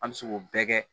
An bɛ se k'o bɛɛ kɛ